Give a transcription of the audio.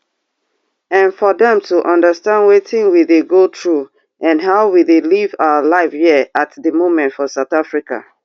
and for dem to understand wetin we dey go through and how we dey live our life here at di moment for south africa